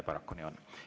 Paraku nii on.